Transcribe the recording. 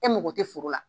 E mago tɛ foro la